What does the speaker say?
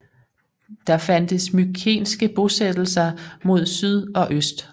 Der fandtes mykenske bosættelser mod syd og øst